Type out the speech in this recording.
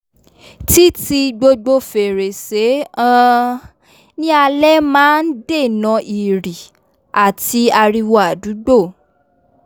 tí ti gbogbo fèrèsé um ní alé máa n n dènà ìrì àti ariwo àdúgbò